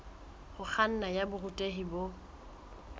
ho kganna ya borutehi bo